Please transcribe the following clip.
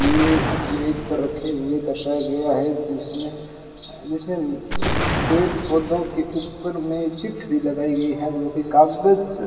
ये मेज पर रखे हुए दर्शाया गया है। जिसमें जिसमें पेड़-पौधों के ऊपर में चिट भी लगाई गई है जोकि कागज--